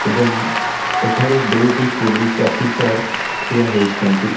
ଏବଂ ଏଠାରେ ଦୁଇଟି ପୋଲିସ ଅଫିସର ଠିଆ ହୋଇଛନ୍ତି।